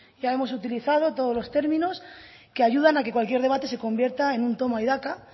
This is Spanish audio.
ya hemos utilizado todos los términos que ayudan a que cualquier debate se convierta en un toma y daca